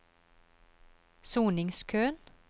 soningskøen